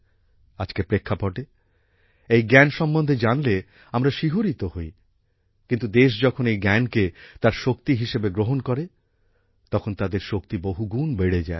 আজকের প্রেক্ষাপটে এই জ্ঞান সম্মন্ধে জানলে আমরা শিহরিত হই কিন্তু দেশ যখন এই জ্ঞানকে তার শক্তি হিসেবে গ্রহণ করে তখন তাদের শক্তি বহুগুণ বেড়ে যায়